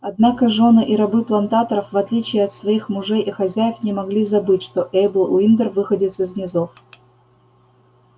однако жёны и рабы плантаторов в отличие от своих мужей и хозяев не могли забыть что эйбл уиндер выходец из низов